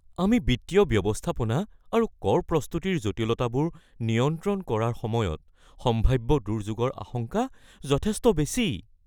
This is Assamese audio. আমি বিত্তীয় ব্যৱস্থাপনা আৰু কৰ প্ৰস্তুতিৰ জটিলতাবোৰ নিয়ন্ত্ৰণ কৰাৰ সময়ত সম্ভাব্য দুৰ্যোগৰ আশংকা যথেষ্ট বেছি।